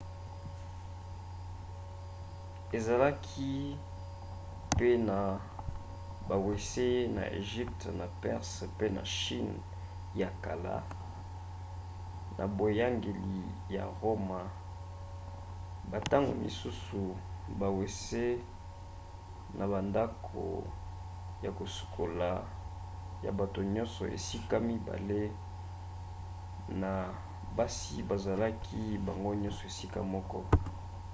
ezalaki pe na bawese na egypte na perse mpe na chine ya kala. na boyangeli ya roma bantango mosusu bawese na bandako ya kosukola ya bato nyonso esika mibale na basi bazalaki bango nyonso esika moko